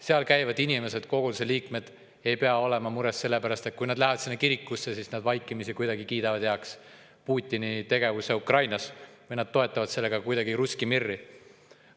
Seal käivad inimesed, koguduse liikmed, ei pea olema mures sellepärast, et kui nad lähevad sinna kirikusse, siis nad vaikimisi kuidagi kiidaksid heaks Putini tegevuse Ukrainas või toetaksid kuidagi russki mir'i.